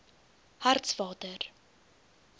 hartswater